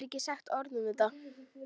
Hann hefur ekki sagt orð um þetta.